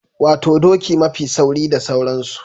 Wato doki mafi sauri da sauransu.